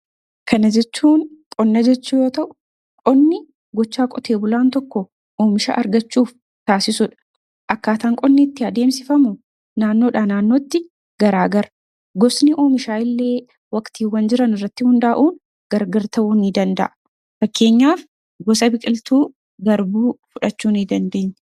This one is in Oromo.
Kan ajechuun qonna jechuu yoo ta'u, qonni gochaa qote bulaan tokko oomisha argachuuf taasisudha. Akkaataan qonni itti adeemsifamu naannoodhaa naannootti garaagara. Gosni oomishaa illee waqtiiwwan jiran irratti hundaa'uun gargar ta'uu ni danda'a. Fakkeenyaaf gosa biqiltuu garbuu fudhachuu ni dandeenya.